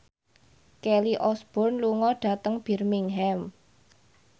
Kelly Osbourne lunga dhateng Birmingham